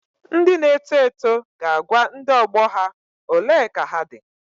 Ndị na-eto eto ga-agwa ndị ọgbọ ha " ole ka ha dị.